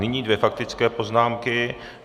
Nyní dvě faktické poznámky.